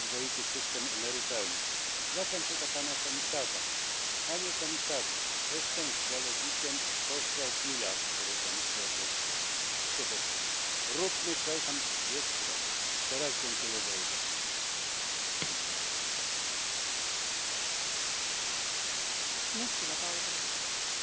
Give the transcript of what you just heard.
zu vergleichen. Vor allem braucht es aber auch politisches Handeln. Der Bereich der Daseinsvorsorge sollte, wie es auch der Lissabon Vertrag vorsieht, speziellen Regelungen unterliegen. Dazu braucht es einen neuen Anlauf, und es darf nicht sein, dass öffentliche Dienstleistungen gegenüber dem privaten Sektor benachteiligt sind.